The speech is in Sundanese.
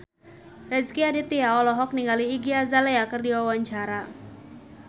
Rezky Aditya olohok ningali Iggy Azalea keur diwawancara